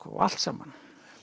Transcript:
allt saman